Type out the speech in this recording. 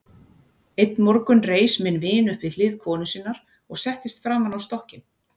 Einn morgun reis minn vin upp við hlið konu sinnar og settist framan á stokkinn.